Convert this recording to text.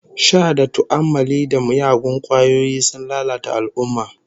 Sha da tu'ammali da miyagun kwayoyi sun lalata al'ummah